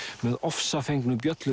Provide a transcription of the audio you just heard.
með ofsafengnu